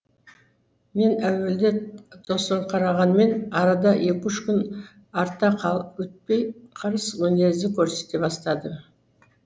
мен әуелде тосырқырағанмен арада екі үш арта өтпей қырыс мінез көрсете бастадым